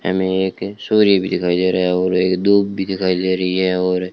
हमें एक सूर्य भी दिखाई दे रहा है और एक धूप भी दिखाई दे रही है और--